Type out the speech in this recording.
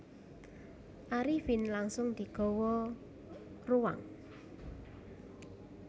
Arifin langsung digawa ruang